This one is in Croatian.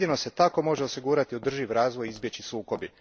Jedino se tako može osigurati održivi razvoj i izbjeći sukobi.